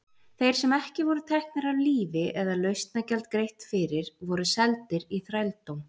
Þeir sem ekki voru teknir af lífi eða lausnargjald greitt fyrir voru seldir í þrældóm.